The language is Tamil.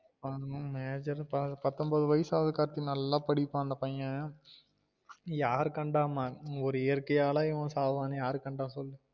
ஆமா major தான் பத்தொம்போது வயசு ஆவுது கார்த்தி நல்லா படிப்பான் அந்த பையன் யாரு கண்டா மான் ஒரு இயற்கையால இவன் சாவானு யார் கண்டா சொல்லு